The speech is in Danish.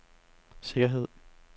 sikkerhed